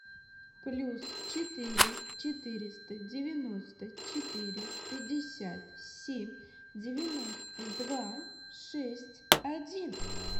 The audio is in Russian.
плюс четыре четыреста девяносто четыре пятьдесят семь девяносто два шесть один